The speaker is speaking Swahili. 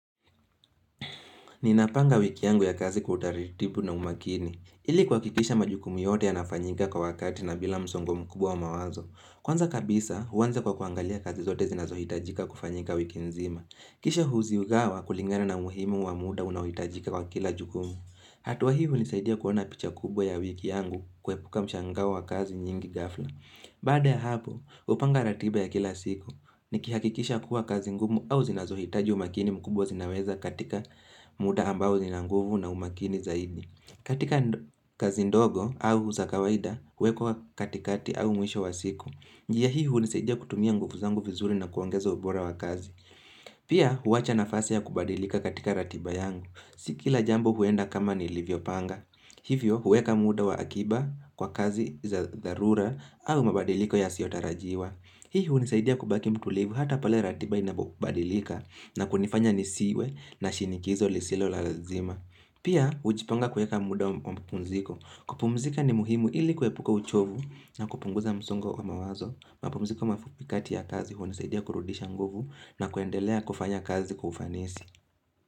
Ninapanga wiki yangu ya kazi kwa utaritibu na umakini. Ili kuhakisha majukumu yote ya nafanyika kwa wakati na bila msongo mkubwa wa mawazo. Kwanza kabisa, uanza kwa kuangalia kazi zote zinazohitajika kufanyika wiki nzima. Kisha huzigawa kulingana na muhimu wa muda unahitajika kwa kila jukumu. Hatua hivi hunisaidia kuona picha kubwa ya wiki yangu kuepuka mshangao wa kazi nyingi ghafla. Baada ya hapo, upanga ratiba ya kila siku ni kihakikisha kuwa kazi ngumu au zinazohitaji umakini mkubwa zinaweza katika muda ambao zinanguvu na umakini zaidi. Katika kazi ndogo au zakawaida, huwekwa katikati au mwisho wa siku. Njia hii unisaidia kutumia nguvu zangu vizuri na kuongeza ubora wa kazi. Pia, huacha nafasi ya kubadilika katika ratiba yangu. Sikila jambo huenda kama ni livyo panga. Hivyo, huweka muda wa akiba kwa kazi za dharura au mabadiliko ya siotarajiwa. Hii unisaidia kubaki mtulivu hata pale ratiba inabadilika na kunifanya nisiwe na shinikizo lisilo la lazima. Pia, ujipanga kuweka muda wa mapumziko. Kupumzika ni muhimu ili kuhepuka uchovu na kupunguza msongo wa mawazo. Mapumziko mafupikati ya kazi unisaidia kurudisha nguvu na kuendelea kufanya kazi kwa ufanisi.